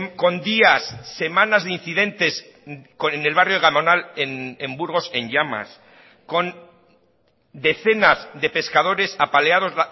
con días semanas de incidentes en el barrio gamonal en burgos en llamas con decenas de pescadores apaleados